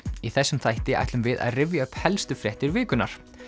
í þessum þætti ætlum við að rifja upp helst fréttir vikunnar